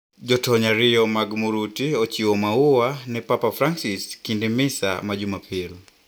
Jotony ariyo mag murutu ochiwo maua ne Papa Francis kinde misa ma jumapil.